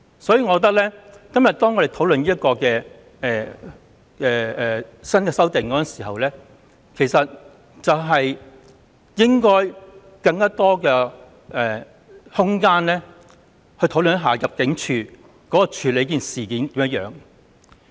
所以，我認為我們今天討論新的修訂時，其實應該給予更多空間討論入境處怎樣處理這些個案。